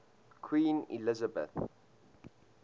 queen elizabeth